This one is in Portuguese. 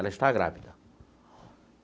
Ela está grávida.